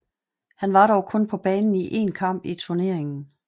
Han var dog kun på banen i én kamp i turneringen